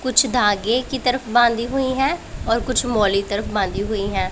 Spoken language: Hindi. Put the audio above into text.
कुछ धागे की तरफ बांधी हुई हैं कुछ मौली तरफ बांधी हुई हैं।